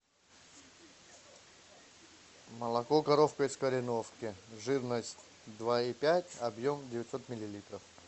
молоко коровка из кореновки жирность два и пять объем девятьсот миллилитров